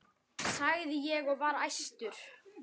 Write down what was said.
sagði ég og var æstur.